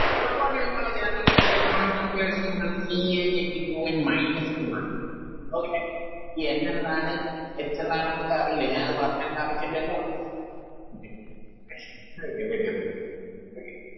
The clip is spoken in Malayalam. Triple bond ഉള്ള ആളെ General ആയിട്ട് ഉള്ള Electronic configuration ന്ന് പറഞ്ഞാല് C n h two n minus two ആണ് Okay ഈ N എന്താണ് H എന്താണ് ന്നൊക്കെ അറിയില്ലേ ഞാനത് പറഞ്ഞ് തെരണ്ട ആവശ്യം ഇല്ലല്ലോ Okay ready ready ready okay